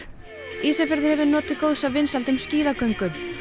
Ísafjörður hefur notið góðs af vinsældum skíðagöngu